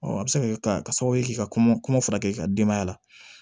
a bɛ se ka kɛ sababu ye k'i ka kɔngɔ furakɛ i ka denbaya la